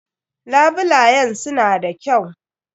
Labulayen su na da kyau.